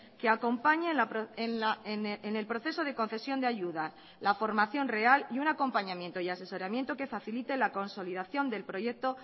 que acompañe en el proceso de concesión de ayuda la formación real y un acompañamiento y asesoramiento que facilite la consolidación del proyecto